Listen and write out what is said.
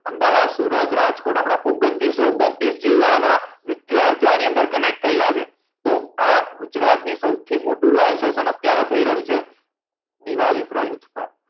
અમદાવાદ સુરત રાજકોટ આપના ઓગ્ન્તીસ સે ઓગ્ન્તીસ જીલ્લાના વિદ્યાર્થીઓ આની અંદર connect થયેલા છે તો આ ગુજરાત નું સૌથી મોટું live session અત્યારે થઈ રહ્યું છે દિવાળી પર યુદ્ધ